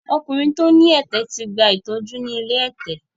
Ọkùnrin tí ó ní ẹ̀tẹ̀ ti gba ìtọ́jú ni ilé ẹ̀tẹ̀.